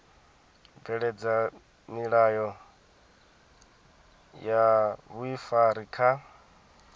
bveledza milayo ya vhuifari kha